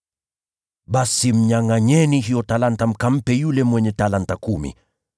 “ ‘Basi mnyangʼanyeni hiyo talanta, mkampe yule mwenye talanta kumi.